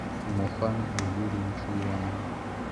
мохамеду юрьевичу иванову